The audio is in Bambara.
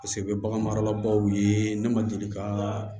Paseke u bɛ bagan marala baw ye ne ma deli ka